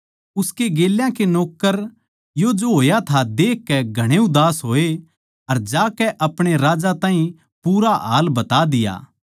उसके गेल्या के नौक्कर यो जो होया था देखकै घणे उदास होए अर जाकै अपणे राजा ताहीं पूरा हाल बता दिया